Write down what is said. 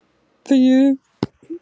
Nú er núið og hér.